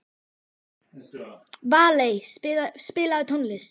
Valey, spilaðu tónlist.